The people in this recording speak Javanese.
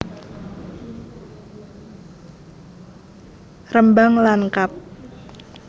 Rembang lan kab